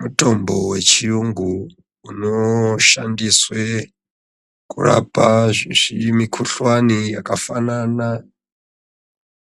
Mutombo wechiyungu, unoshandiswe kurapa zvimikhuhlani zvakafanana